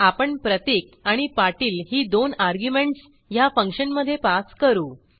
आपण प्रतीक आणि पाटील ही दोन अर्ग्युमेंटस ह्या फंक्शनमधे पास करू